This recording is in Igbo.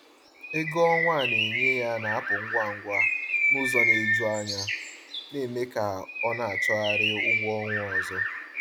Ego ọnwa a na-enye ya na-apụ ngwa ngwa n’ụzọ na-eju anya, na-eme ka ọ na-achọgharị ụgwọ ọnwa ọzọ.